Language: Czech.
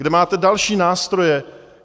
Kde máte další nástroje?